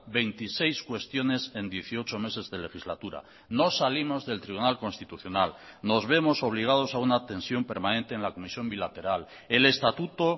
veintiséis cuestiones en dieciocho meses de legislatura no salimos del tribunal constitucional nos vemos obligados a una tensión permanente en la comisión bilateral el estatuto